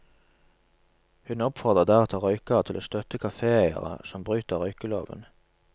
Hun oppfordrer deretter røykere til å støtte kaféeiere som bryter røykeloven.